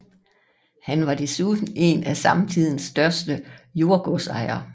Han var desuden en af sin samtids største jordgodsejere